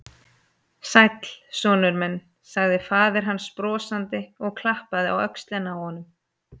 Sæll, sonur minn sagði faðir hans brosandi og klappaði á öxlina á honum.